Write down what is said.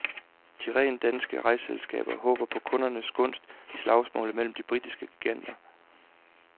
De rent danske rejseselskaber håber på kundernes gunst i slagsmålet mellem de britiske giganter.